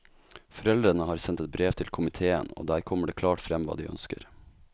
Foreldrene har sendt et brev til komitéen og der kommer det klart frem hva de ønsker.